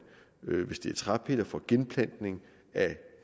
hvis det træpiller får genplantning af